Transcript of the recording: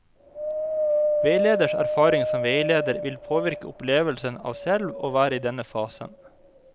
Veileders erfaring som veileder vil påvirke opplevelsen av selv å være i denne fasen.